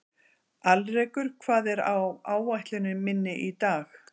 Alrekur, hvað er á áætluninni minni í dag?